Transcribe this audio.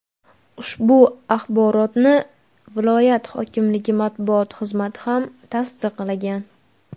Ushbu axborotni viloyat hokimligi matbuot xizmati ham tasdiqlagan.